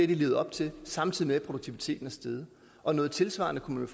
de levet op til samtidig med at produktiviteten er steget og noget tilsvarende kunne